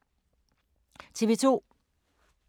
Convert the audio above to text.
TV 2